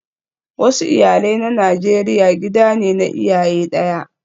Wasu iyalai na Najeriya gida ne na iyaye daya